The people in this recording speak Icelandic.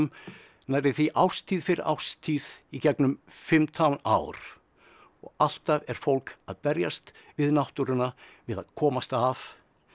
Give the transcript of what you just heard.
nærri því árstíð fyrir árstíð í gegnum fimmtán ár og alltaf er fólk að berjast við náttúruna við að komast af